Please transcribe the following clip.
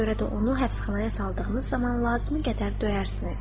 Buna görə də onu həbsxanaya saldığınız zaman lazımi qədər döyərsiniz.